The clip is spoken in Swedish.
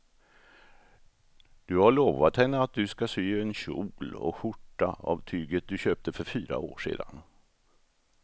Du har lovat henne att du ska sy en kjol och skjorta av tyget du köpte för fyra år sedan.